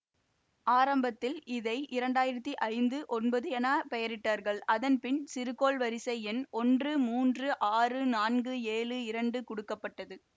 ஆரம்பத்தில் இதை இரண்டாயிரத்தி ஐந்து ஒன்பது என பெயரிட்டார்கள் அதன்பின் சிறுகோள் வரிசை எண் ஒன்று முன்று ஆறு நான்கு ஏழு இரண்டு குடுக்கப்பட்டது